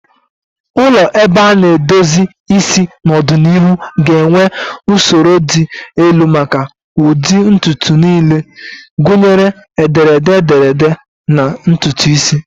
Ụlọ ebe a na-edozi isi n'ọdịnihu ga-enwe usoro dị elu maka ụdị ntutu niile, gụnyere ederede ederede na ntutu isi.